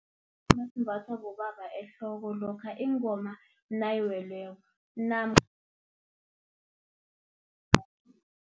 esimbathwa bobaba ehloko, lokha ingoma nayiweleko namkha